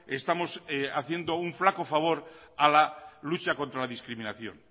estamos haciendo un flaco favor a la lucha contra la discriminación